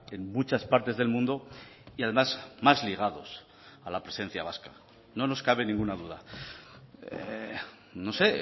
en muchas partes del mundo y además más ligados a la presencia vasca no nos cabe ninguna duda no sé